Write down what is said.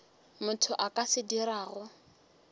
motho a ka se dirago